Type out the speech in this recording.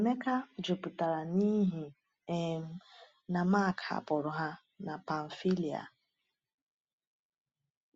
Emeka jụpụtara n’ihi um na Mark hapụrụ ha na Pamfília.